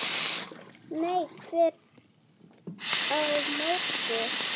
Nei, þvert á móti.